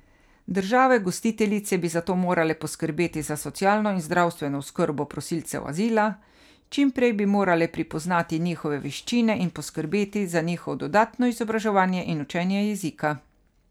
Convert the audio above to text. Države gostiteljice bi zato morale poskrbeti za socialno in zdravstveno oskrbo prosilcev azila, čimprej bi morale pripoznati njihove veščine in poskrbeti za njihovo dodatno izobraževanje in učenje jezika.